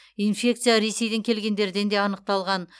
инфекция ресейден келгендерден де анықталған